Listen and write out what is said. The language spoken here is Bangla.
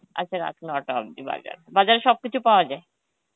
আচ্ছা রাত নটা অব্দি বাজার বাজারে সবকিছু পাওয়া যায়?